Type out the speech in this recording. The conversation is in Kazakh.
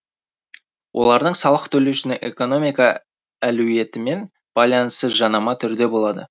олардың салық төлеушінің экономика әлуетімен байланысы жанама түрде болады